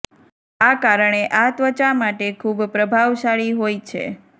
આ કારણે આ ત્વચા માટે ખૂબ પ્રભાવશાળી હોઈ છે